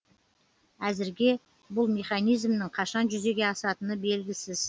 әзірге бұл механизмнің қашан жүзеге асатыны белгісіз